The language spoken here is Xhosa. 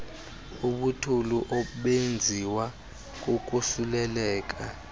ubuthulu obenziwa kukosuleleka